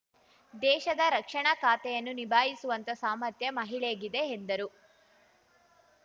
ದೇಶದ ರಕ್ಷಣಾ ಖಾತೆಯನ್ನು ನಿಭಾಯಿಸುವಂತ ಸಾಮರ್ಥ್ಯ ಮಹಿಳೆಗಿದೆ ಎಂದರು